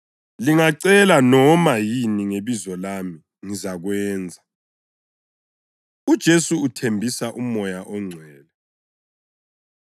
Lingacela noma yini ngebizo lami, ngizakwenza.” UJesu Uthembisa UMoya ONgcwele